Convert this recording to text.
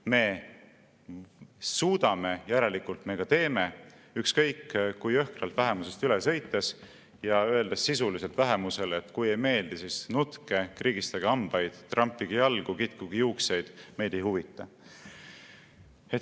Me suudame, järelikult me teeme ükskõik kui jõhkralt vähemusest üle sõites ja öeldes sisuliselt vähemusele: "Kui ei meeldi, siis nutke, krigistage hambaid, trampige jalgu, kitkuge juukseid – meid ei huvita.